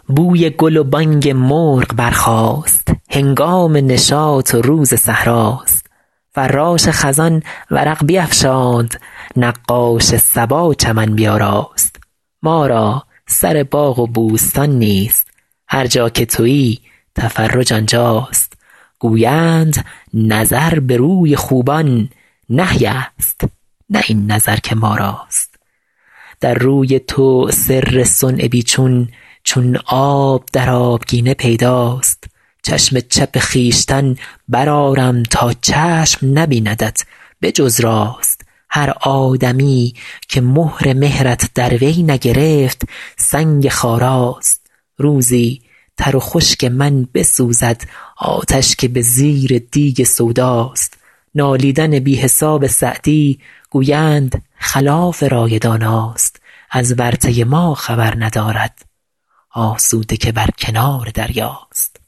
بوی گل و بانگ مرغ برخاست هنگام نشاط و روز صحرا ست فراش خزان ورق بیفشاند نقاش صبا چمن بیاراست ما را سر باغ و بوستان نیست هر جا که تویی تفرج آنجا ست گویند نظر به روی خوبان نهی ست نه این نظر که ما راست در روی تو سر صنع بی چون چون آب در آبگینه پیدا ست چشم چپ خویشتن برآرم تا چشم نبیندت به جز راست هر آدمیی که مهر مهرت در وی نگرفت سنگ خارا ست روزی تر و خشک من بسوزد آتش که به زیر دیگ سودا ست نالیدن بی حساب سعدی گویند خلاف رای دانا ست از ورطه ما خبر ندارد آسوده که بر کنار دریا ست